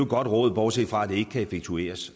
godt råd bortset fra at det ikke kan effektueres